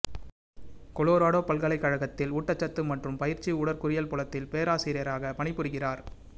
Colorado பல்கலைக் கழகத்தில் ஊட்டச்சத்து மற்றும் பயிற்சி உடற்கூறியல் புலத்தில் பேராசிரியராகப் பணிபுரிகிறார்